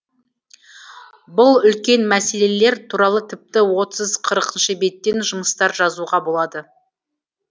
бұл үлкен мәслелелер туралы тіпті отыз қырық беттен жұмыстар жазуға болады